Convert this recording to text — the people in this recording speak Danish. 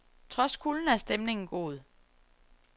Trods kulden er stemningen god.